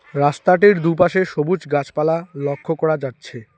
রাস্তাটির দুপাশে সবুজ গাছপালা লক্ষ করা যাচ্ছে।